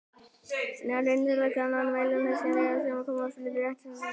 Þær innihalda gjarnan nokkrar milljónir skynjara sem komið er fyrir á rétthyrndum reit.